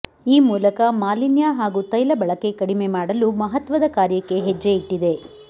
ಈ ಮೂಲಕ ಮಾಲಿನ್ಯ ಹಾಗೂ ತೈಲ ಬಳಕೆ ಕಡಿಮೆ ಮಾಡಲು ಮಹತ್ವದ ಕಾರ್ಯಕ್ಕೆ ಹೆಜ್ಜೆ ಇಟ್ಟಿದೆ